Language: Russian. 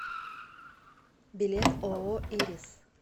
билет ооо ирис